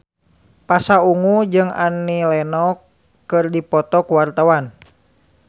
Pasha Ungu jeung Annie Lenox keur dipoto ku wartawan